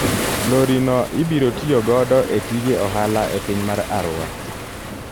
Lori no ibiro tiyo godo e tije ohala e piny mar Arua.